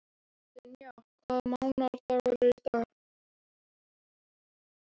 Dynja, hvaða mánaðardagur er í dag?